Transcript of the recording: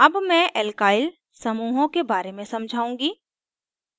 अब मैं alkyl समूहों के बारे में समझाउंगी